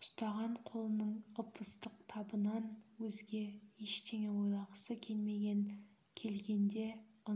ұстаған қолының ып-ыстық табынан өзге ештеңе ойлағысы келмеген келгенде